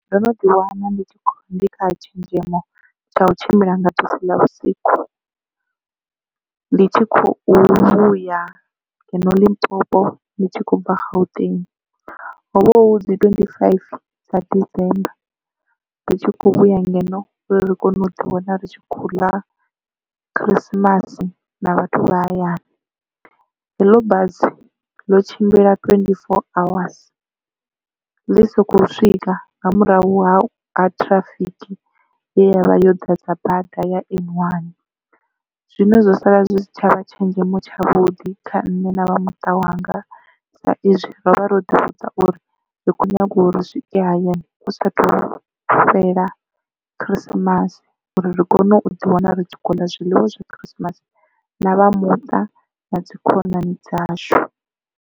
Ndo no ḓi wana ndi kha tshenzhemo tsha u tshimbila nga bisi ḽa vhusiku ndi tshi khou vhuya ngeno limpopo ndi tshi kho bva gauteng, hovha hu dzi twenthi fifty dza december ri tshi khou vhuya ngeno uri kone u ḓi wana ri tshi khou ḽa khirisimasi na vhathu vha hayani. Heḽo busi ḽo tshimbila twenthi four awas ḽi soko swika nga murahu ha ha ṱhirafiki ye yavha yo ḓadza bada ya N1 zwino zwo sala zwi si tshavha tshenzhemo tshavhuḓi kha nṋe na vhamuṱa wanga sa izwi ro vha ro ḓivhudza uri ri khou nyaga uri ri swike hayani hu sathu fhela khirisimasi uri ri kone u ḓi wana ri tshi kho uḽa zwiḽiwa zwa khirisimasi na vha muṱa na dzi khonani dzashu.